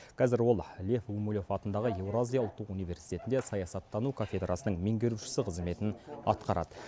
қазір ол лев гумилев атындағы еуразия ұлттық университетінде саясаттану кафедрасының меңгерушісі қызметін атқарады